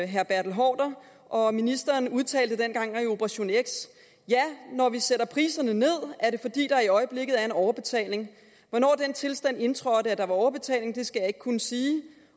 herre bertel haarder og ministeren udtalte den gang i operation x ja når vi sætter priserne ned er det fordi der i øjeblikket er en overbetaling hvornår den tilstand indtrådte at der var overbetaling skal jeg ikke kunne sige